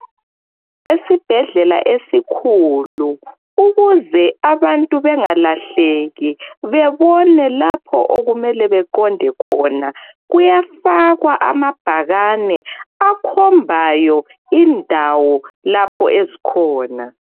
Esibhedlela esikhulu ukuze abantu bengalahleki bebone lapho okumele beqonde khona, kuyafakwa amabhakane akhombayo indawo lapho ezikhona